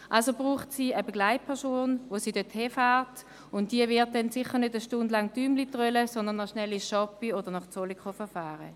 Sie braucht also eine Begleitperson, die sie dorthin fährt, und diese wird dann sicher nicht eine Stunde lang Däumchen drehen, sondern noch schnell ins «Shoppyland» oder nach Zollikofen fahren.